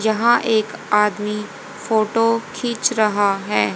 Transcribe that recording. यहां एक आदमी फोटो खींच रहा है।